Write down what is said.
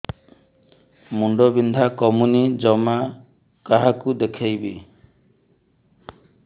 ମୁଣ୍ଡ ବିନ୍ଧା କମୁନି ଜମା କାହାକୁ ଦେଖେଇବି